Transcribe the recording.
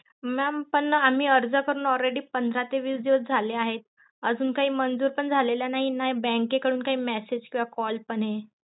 Mam पण आम्ही अर्ज करून already पंधरा ते वीस दिवस झाले आहेत. अजून काय मजूर पण झालेला नाही मे bank के कडून ते message कि call पण